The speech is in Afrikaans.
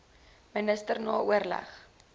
minister na oorleg